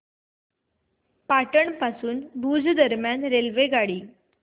पाटण पासून भुज दरम्यान रेल्वेगाडी